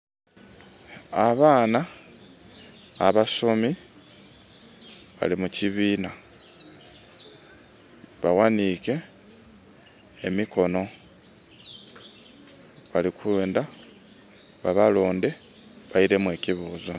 Abaana abasomi bali mu kibiina bawanike emikono balikwenda ba balonde bairemu ekibuuzo